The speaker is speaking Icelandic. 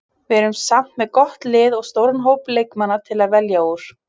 Við erum samt með gott lið og stóran hóp leikmanna til að velja úr.